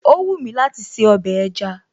Ó wúmi láti se ọbẹ̀ ẹja